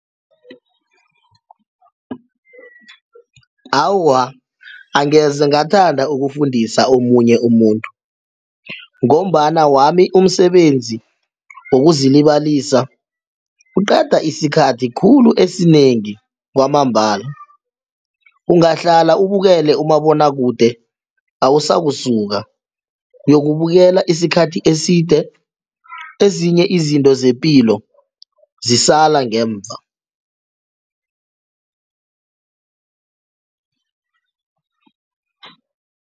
Awa, angeze ngathanda ukufundisa omunye umuntu ngombana wami umsebenzi wokuzilibalisa uqeda isikhathi khulu esinengi kwamambala ungahlala ubukele umabonwakude awusakusuka uyokubukela isikhathi eside ezinye izinto zepilo zisala ngemva.